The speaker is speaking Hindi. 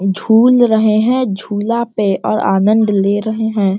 झूल रहें हैं झूला पे और आनद ले रहें हैं।